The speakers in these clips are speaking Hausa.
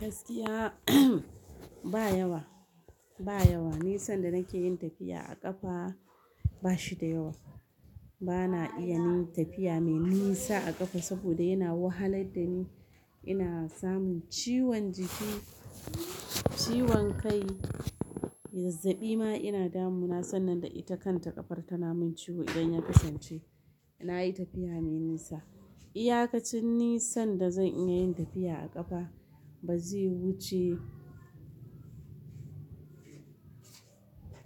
Gaskiya ba yawa, ba yawa. Nisan da nake yin tafiya a ƙafa ba shi da yawa. Bana iya yin tafiya mai nisa a ƙafa saboda yana wahalar da ni. Ina samun ciwon jiki, ciwon kai, zazzabi ma ina damu na. Sannan da ita kanta ƙafar ta na min ciwo idan ya kasance ina yi tafiya mai nisa. Iyakacin nisan da zan iya yin tafiya a ƙafa ba zai wuce.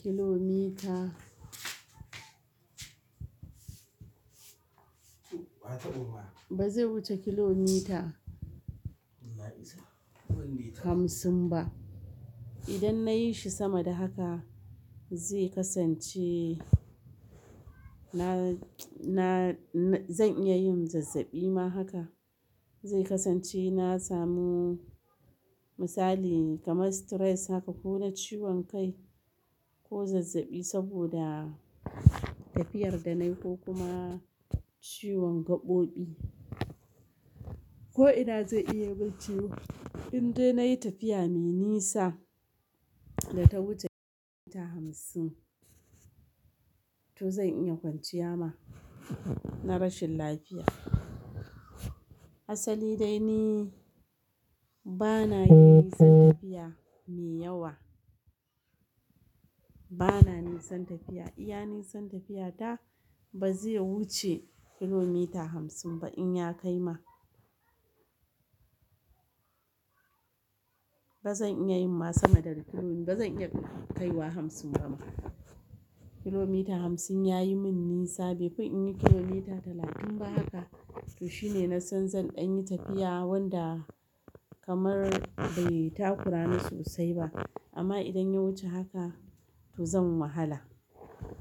Kilomita. Ba zai wuce kilomita. Hamsin ba. Idan na yi shi sama da haka zai kasance na, na, zan iya yin zazzabi ma haka. Zai kasance na samu misali kamar stress haka ko na ciwon kai ko zazzabi saboda tafiyar da nayi ko kuma ciwon gaɓoɓi. Ko ina zai iya man ciwo. Indai nayi tafiya mai nisa da ta wuce kilomita hamsin to zan iya kwanciya ma na rashin lafiya. Asali dai ni bana yin nisan tafiya mai yawa. Bana nisan tafiya. Iya nisan tafiya ta ba zai wuce kilomita hamsin ba in ya kai ma. Ba zan iya yin masu da ru kilo, ba zan iya kaiwa hamsin ba ma. Kilomita hamsin ya yi min nisa. Bai fi in yi kilomita talatin ba haka. To shine na san zan ɗan yi tafiya wanda kamar bai takura ni sosai ba. Amma idan ya wuce haka to zan wahala.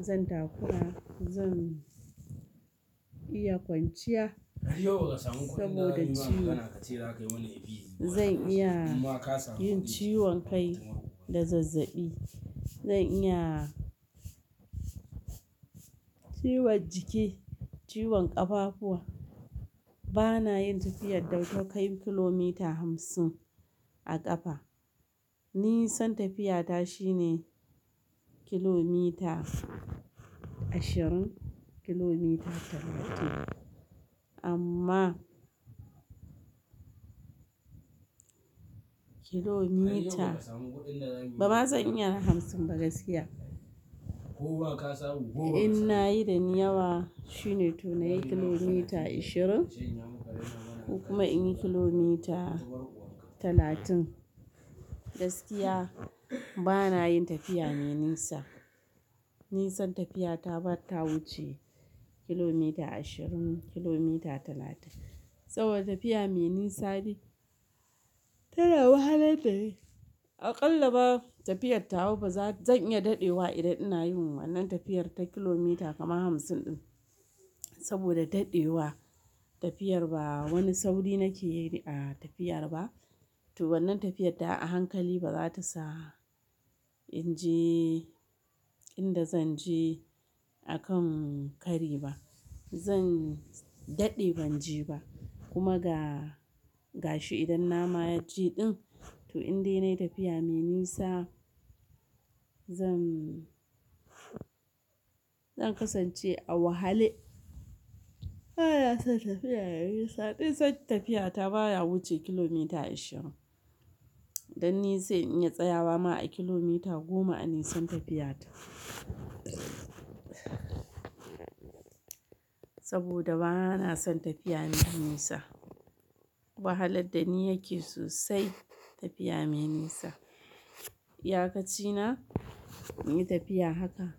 Zan takura. Zan iya kwanciya saboda ciwo. Zan iya yin ciwon kai da zazzabi. Zan iya ciwon jiki, ciwon ƙafafuwa. Bana yin tafiyar da ta kai kilomita hamsin a ƙafa. Nisan tafiya ta shine kilomita ashirin, kilomita talatin. Amma kilomita ba ma zan iya hamsin ba gaskiya. In nayi da ni yawa shine to na yi kilomita ashirin ko kuma in yi kilomita talatin. Gaskiya bana yin tafiya mai nisa. Nisan tafiya ta bata wuce kilomita ashirin, kilomita talatin. Saboda tafiya mai nisa bi ta na wahalar dani aƙalla ba tafiyar ta wa ba zan iya daɗewa idan ina yi wannan tafiyar ta kilomita kama hamsin ɗin. Saboda daɗewa tafiyar ba wani sauri nake yi a tafiyar ba. To wannan tafiyar ta wa a hankali ba za ta sa in je inda zan je akan kari ba. Zan daɗe ban je ba kuma ga gashi idan na ma na je ɗin. To indai nayi tafiya mai nisa zan, zan kasance a wahale. Bana son tafiya mai nisa. Duk son tafiya ta bana wuce kilomita ashirin. Dan ni sai in yi tsayawa ma a kilomita goma a nisan tafiya ta. Saboda bana son tafiya mai nisa. Wahalar da ni yake sosai tafiya mai nisa. Iyakacina in yi tafiya haka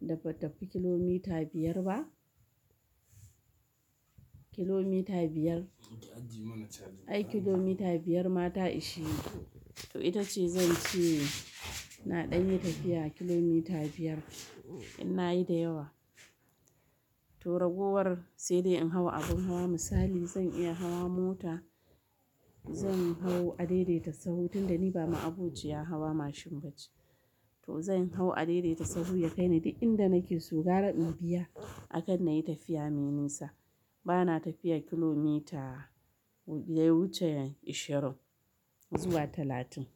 da ba tafi kilomita biyar ba. Kilomita biyar. Ai kilomita biyar ma ta ishe ni to ita ce zan ce na ɗan yi tafiya kilomita biyar in na yi da yawa. To ragowar sai dai in hau abin hawa misali zan iya hawa mota. Zan hau a daidaita sahu tunda ni ba ma'abociyar hawa mashin ba ce. To zan hau a daidaita saho ya kai ni duk inda nake su gara in biya akan na yi tafiya mai nisa. Bana tafiyar kilomita ya wuce ashirin zuwa talatin.